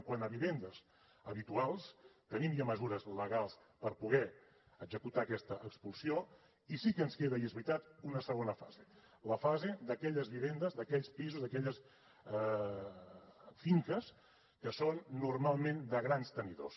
quant a vivendes habituals tenim ja mesures legals per poder executar aquesta expulsió i sí que ens queda i és veritat una segona fase la fase d’aquelles vivendes d’aquells pisos d’aquelles finques que són normalment de grans tenidors